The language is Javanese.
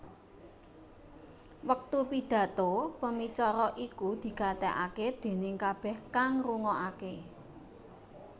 Wektu Pidhato pemicara iku digatekaké déning kabéh kang rungokaké